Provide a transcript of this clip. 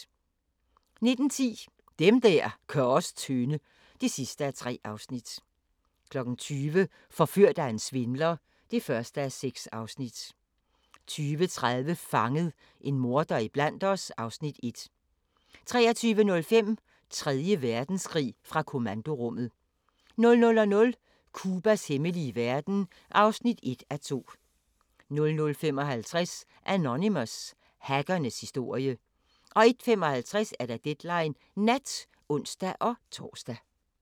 19:10: Dem der gør os tynde (3:3) 20:00: Forført af en svindler (1:6) 20:30: Fanget – en morder iblandt os (Afs. 1) 23:05: Tredje Verdenskrig – fra kommandorummet 00:00: Cubas hemmelige verden (1:2) 00:55: Anonymous – hackernes historie 01:55: Deadline Nat (ons-tor)